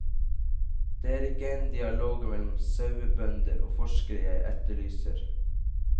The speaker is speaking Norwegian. Det er ikke en dialog mellom sauebønder og forskere jeg etterlyser.